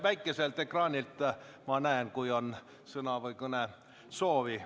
Väikeselt ekraanilt ma näen, kui kellelgi on sõnavõtu- või kõnesoovi.